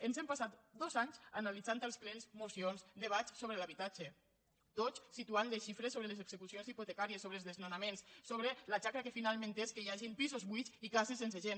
ens hem passat dos anys analitzant als plens mocions debats sobre l’habitatge tots situant les xifres sobre les execucions hipotecàries sobre els desnonaments sobre la xacra que finalment és que hi hagin pisos buits i cases sense gent